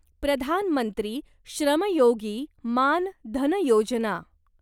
प्रधान मंत्री श्रम योगी मान धन योजना